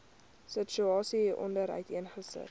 situasie hieronder uiteengesit